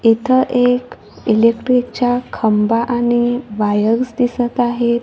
इथं एक इलेक्ट्रिकच्या खांबा आणि वायर्स दिसत आहेत.